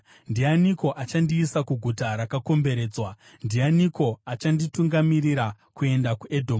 Ndianiko achandiisa kuguta rakakomberedzwa? Ndianiko achanditungamirira kuenda kuEdhomu?